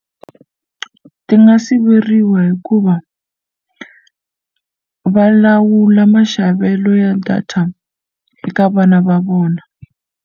Ti nga siveriwa hikuva va lawula maxavelo ya data eka vana va vona.